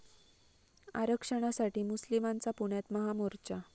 आरक्षणासाठी मुस्लिमांचा पुण्यात महामोर्चा